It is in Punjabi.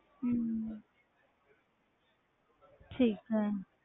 ਹਮ ਠੀਕ ਹੈ।